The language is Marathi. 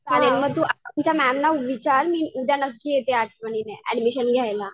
चालेल मी तू तुझ्या मॅम ला विचार मी उद्या नक्की येते आठवणीने ऍडमिशन घ्यायला.